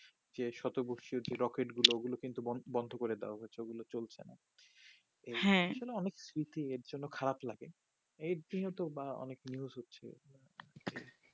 যে শত বছর যে রকেট ওগুলো কিন্তু বন্দ করে দেওয়া হয়েছে ওগুলো চলছে না হ্যা এগুলো অনেক সৃতি এর জন্য খারাপ লাগে এর জন্য তো বা অনেক news হচ্ছে